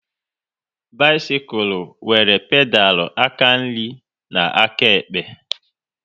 Bisikul nwere pedal aka nri na nke áká ekpe